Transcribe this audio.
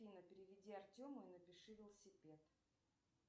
афина переведи артему и напиши велосипед